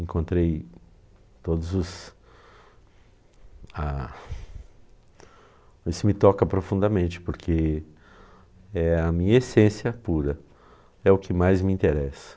Encontrei todos os ah... Isso me toca profundamente porque é a minha essência pura, é o que mais me interessa.